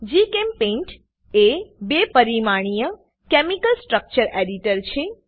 જીચેમ્પેઇન્ટ એ બે પરિમાણીય કેમિકલ સ્ટ્રકચર એડિટર છે